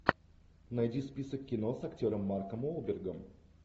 найди список кино с актером марком уолбергом